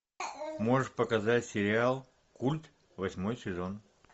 можешь показать сериал культ восьмой сезон